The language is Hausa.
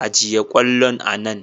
Ajiye kwallon a nan.